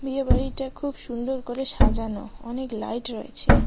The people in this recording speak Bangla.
বিয়েবাড়িটা খুব সুন্দর করে সাজানো অনেক লাইট রয়েছে।